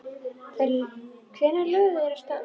Hvenær lögðu þeir af stað?